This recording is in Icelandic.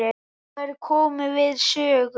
Þær komu við sögu.